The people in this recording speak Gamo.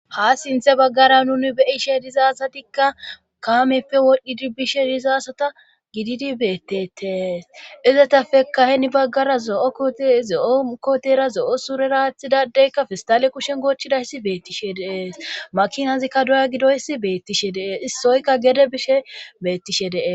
ha sinthe baggara nuni beyishe diza asatikka kaameppe wodhdhidi bishe dizaasata gididi beettetees izetafekkaheni baggara zo'o zo'o kotera zo'o sureraathidadeykka fistale kushen goochidayssi beettishe deees makinazikka doya gidoyssi beettishe dee issoykka gede bishe beettishe dee